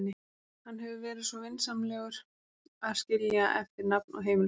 Hann hefur verið svo vinsamlegur að skilja eftir nafn og heimilisfang.